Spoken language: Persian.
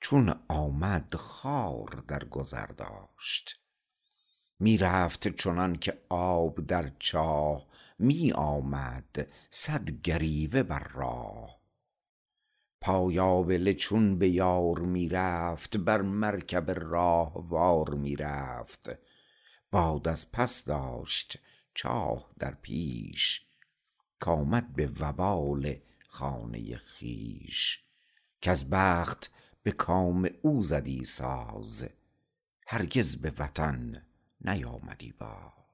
چون آمد خار در گذر داشت می رفت چنان که آب در چاه می آمد صد گریوه بر راه پای آبله چون به یار می رفت بر مرکب راهوار می رفت باد از پس داشت چاه در پیش کآمد به وبال خانه خویش گر بخت به کام او زدی ساز هرگز به وطن نیآمدی باز